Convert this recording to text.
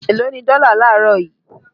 Eló ni dọ́là laarọ yìí?